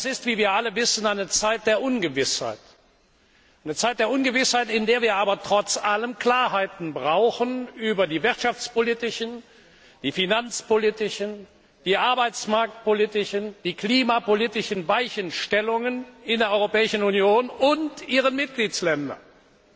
Und das ist wie wir alle wissen eine Zeit der Ungewissheit, in der wir aber trotz allem Klarheiten über die wirtschaftspolitischen, die finanzpolitischen, die arbeitsmarktpolitischen und die klimapolitischen Weichenstellungen in der Europäischen Union und ihren Mitgliedstaaten brauchen.